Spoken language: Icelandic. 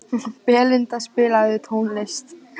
Belinda, spilaðu tónlist.